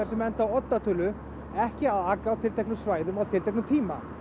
sem enda á oddatölu ekki að aka á tilteknum svæðum á tilteknum tíma